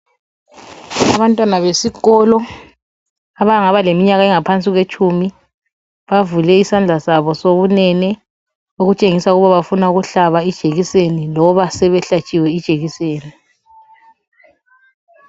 Abantwana besikolo abangaba ngaphansi kweminyaka elitshumi bavule isandla sabo sokunene okutshengisa ukuba bafuna ukuhlaba ijekiseni loba sebehlatshiwe ijekiseni.